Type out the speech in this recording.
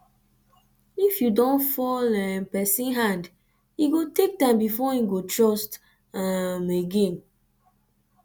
if you don fall um person hand e go take time before im go trust um again